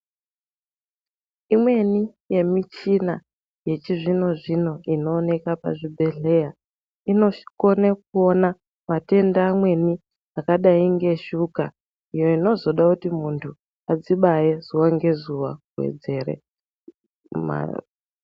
Imweni yemichina yechizvinozvino inooneka pazvibhedhleya inokone kuona matenda amweni akadai ngeshuka iyo inozoda kuti muntu adzibaye zuwa ngezuwa kuwedzere